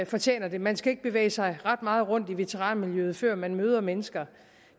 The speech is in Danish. fortjener det man skal ikke bevæge sig ret meget rundt i veteranmiljøet før man møder mennesker